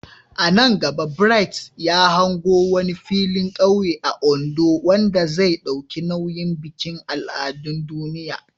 A nan gaba, Bright ya hango wani filin kauye a Ondo wanda zai dauki nauyin bikin al'adun duniya.